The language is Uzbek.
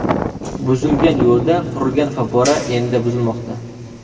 Buzilgan yo‘lda qurilgan favvora endi buzilmoqda.